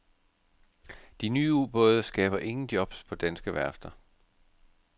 De nye ubåde skaber ingen jobs på danske værfter.